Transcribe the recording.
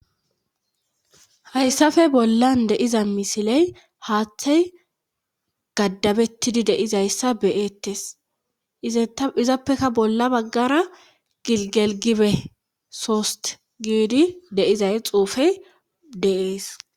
Hayssafe bollan deiza misiley haaththey gaddabettidi deizayssa beyettes izappeka bolla baggara gigelgibe sost gidi deizay xuufey dees.